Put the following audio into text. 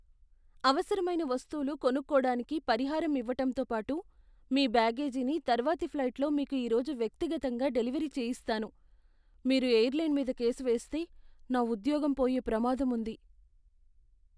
అవసరమైన వస్తువులు కొనుక్కోడానికి పరిహారం ఇవ్వటంతో పాటు మీ బ్యాగేజీని తర్వాతి ఫ్లైట్లో మీకు ఈరోజు వ్యక్తిగతంగా డెలివరీ చేయిస్తాను. మీరు ఎయిర్లైన్ మీద కేసు వేస్తే, నా ఉద్యోగం పోయే ప్రమాదం ఉంది.